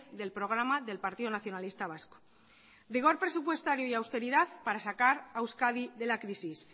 del programa del partido nacionalista vasco vigor presupuestario y austeridad para sacar a euskadi de la crisis